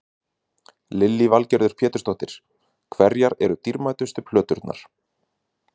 Lillý Valgerður Pétursdóttir: Hverjar eru dýrmætustu plöturnar?